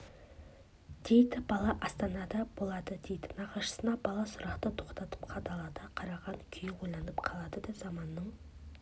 өзгеретінін елдің тәуелсіздігі жақындап келе жатқанын баланың да атаның да ішкі түйсігі сезгендей екі ұрпақ